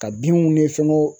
Ka binw ni fɛngɛw